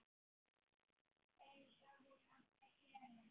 Einsog hún átti að gera.